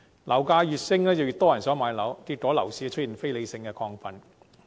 樓價越升，越多人想買樓，結果樓市出現非理性亢奮。